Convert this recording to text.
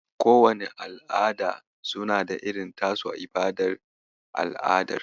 Kowanne al'ada suna da irin tasu ibadar al'adar.